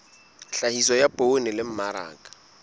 tlhahiso ya poone le mmaraka